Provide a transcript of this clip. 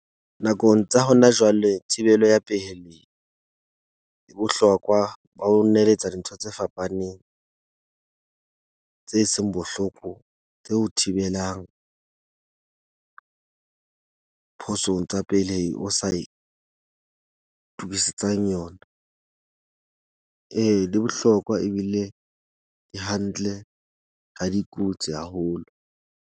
Nakong tsa hona jwale thibelo ya pehelli e bohlokwa ba ho neletsa dintho tse fapaneng tse seng bohloko, tse o thibelang phosong tsa pelehi o sa itukesetsang yona. Ee, di bohlokwa ebile ke hantle ra di haholo.